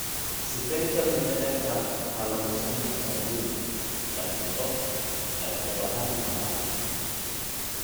Sifeynta mindhicirka waxaa lagu samayn karaa guriga, laakiin qof ayaa u baahan inuu caawiyo.